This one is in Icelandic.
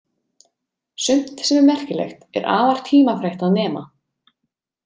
Sumt sem er merkilegt er afar tímafrekt að nema.